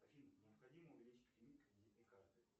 афина необходимо увеличить лимит кредитной карты